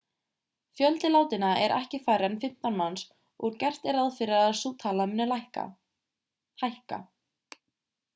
fjöldi látinna er ekki færri en 15 manns og gert er ráð fyrir að sú tala muni hækka